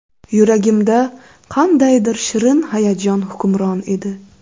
Yuragimda qandaydir shirin hayajon hukmron edi.